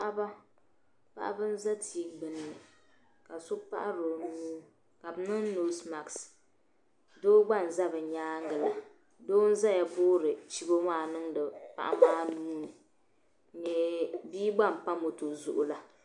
Paɣiba , paɣiba nzɛ tii gbunni ,ka so paɣiri onuu kabiniŋ nɔsemat. doo gba n-za b nyaaŋgi la, doo n zaya n boori chibɔ maa n niŋdi paɣi maa nuuni. n nyɛ , biigba n pa mɔtɔ zuɣu la.